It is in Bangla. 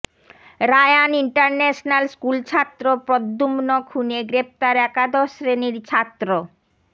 রায়ান ইন্টারন্যাশনাল স্কুলছাত্র প্রদ্যুম্ন খুনে গ্রেফতার একাদশ শ্রেণির ছাত্র